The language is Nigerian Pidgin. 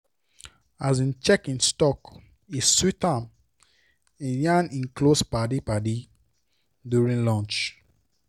as e check him stock and e sweet am e yarn him close paddies paddies during lunch.